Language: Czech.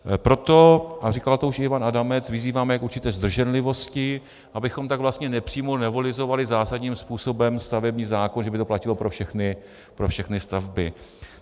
Proto, a říkal to už i Ivan Adamec, vyzýváme k určité zdrženlivosti, abychom tak vlastně nepřímo novelizovali zásadním způsobem stavební zákon, že by to platilo pro všechny stavby.